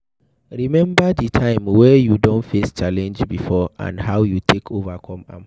Remember di time wey you don face challenge before and how you take overcome am